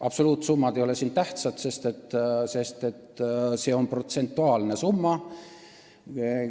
Absoluutsummad ei ole tähtsad, sest see on protsentuaalne summa.